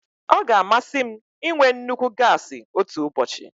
Ọ ga-amasị m ịnwe nnukwu gasi otu ụbọchị.